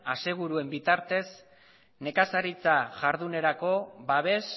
aseguruen bitartez nekazaritza ihardunerako babes